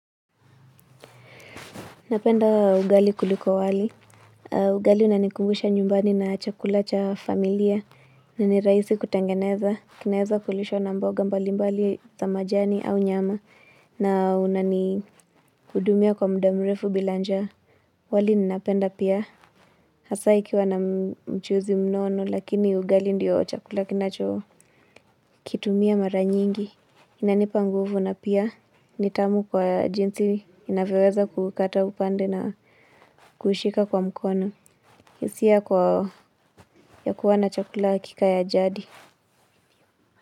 Napenda ugali kuliko wali. Ugali unanikumbusha nyumbani na chakula cha familia na nirahisi kutengeneza. Kinaweza kulisho na mboga mbalimbali za majani au nyama na unanikudumia kwa mda mrefu bila njaa. Wali ninapenda pia. Hasa ikiwa na mchuzi mnono lakini ugali ndiyo chakula kinacho kitumia mara nyingi. Inanipa nguvu na pia ni tamu kwa jinsi inavyoweza kukata upande na kuishika kwa mkono, hisia kwa ya kuwa na chakula kika ya jadi.